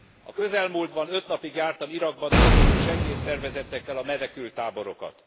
A közelmúltban öt napig jártam Irakban dolgozó segélyszervezetekkel a menekülttáborokat.